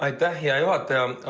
Aitäh, hea juhataja!